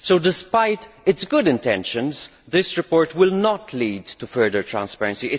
So, despite its good intentions, this report will not lead to further transparency.